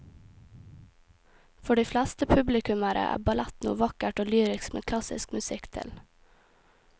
For de fleste publikummere er ballett noe vakkert og lyrisk med klassisk musikk til.